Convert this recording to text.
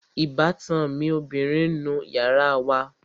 Ìbátan mi ọbìrin ń nu yàrá wa